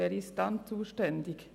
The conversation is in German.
Wer ist dann zuständig?